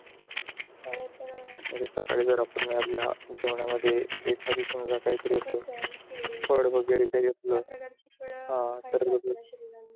फळ तर सकाळी जरआपल्या जेवण मध्ये एखादी समझ काही फळ वैगेरे काही असल केली तर